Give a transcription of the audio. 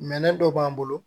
Minɛn dɔ b'an bolo